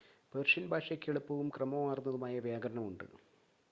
Persian ഭാഷയ്ക്ക് എളുപ്പവും ക്രമമാർന്നതുമായ വ്യാകരണം ഉണ്ട്